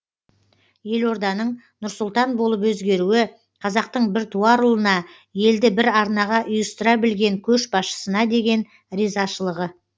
елорданың нұр сұлтан болып өзгеруі қазақтың бір туар ұлына елді бір арнаға ұйыстыра білген көшбасшысына деген ризашылығы